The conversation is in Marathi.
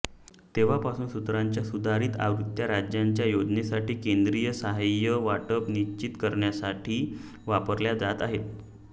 तेव्हापासून सूत्रांच्या सुधारित आवृत्त्या राज्याच्या योजनांसाठी केंद्रीय सहाय्य वाटप निश्चित करण्यासाठी वापरल्या जात आहेत